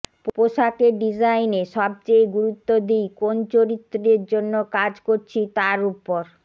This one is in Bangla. পোশাকের ডিজাইনে সবচেয়ে গুরুত্ব দিই কোন চরিত্রের জন্য কাজ করছি তার ওপর